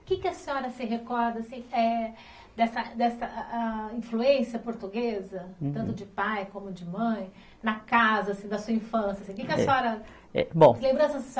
O que que a senhora se recorda assim, eh, dessa dessa, a a, influência portuguesa, tanto de pai como de mãe, na casa, assim da sua infância, assim? Que que a senhora. É. Bom. Senhora